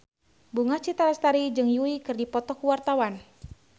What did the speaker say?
Bunga Citra Lestari jeung Yui keur dipoto ku wartawan